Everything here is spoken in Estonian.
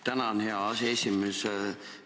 Tänan, hea aseesimees!